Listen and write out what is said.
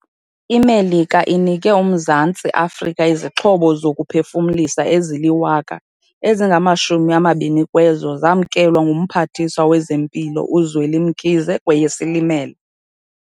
IMelika inike uMzantsi Afrika izixhobo zokuphefumlisa ezili-1 000, ezingama-20 kwezo zamkelwa nguMphathiswa wezeMpilo uZweli Mkhize kweyeSilimela.